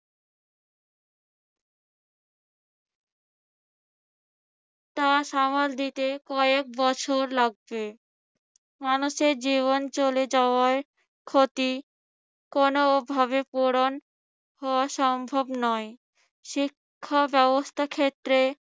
তা সামাল দিতে কয়েক বছর লাগবে। মানুষের জীবন চলে যাওয়ার ক্ষতি কোনভাবে পূরণ হওয়া সম্ভব নয়। শিক্ষা ব্যবস্থা ক্ষেত্রে